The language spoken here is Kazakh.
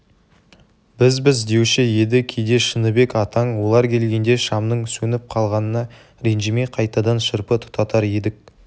бізбіз деуші еді кейде шыныбек атаң олар келгенде шамның сөніп қалғанына ренжімей қайтадан шырпы тұтатар едік